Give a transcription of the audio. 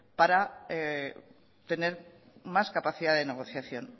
para tener más capacidad de negociación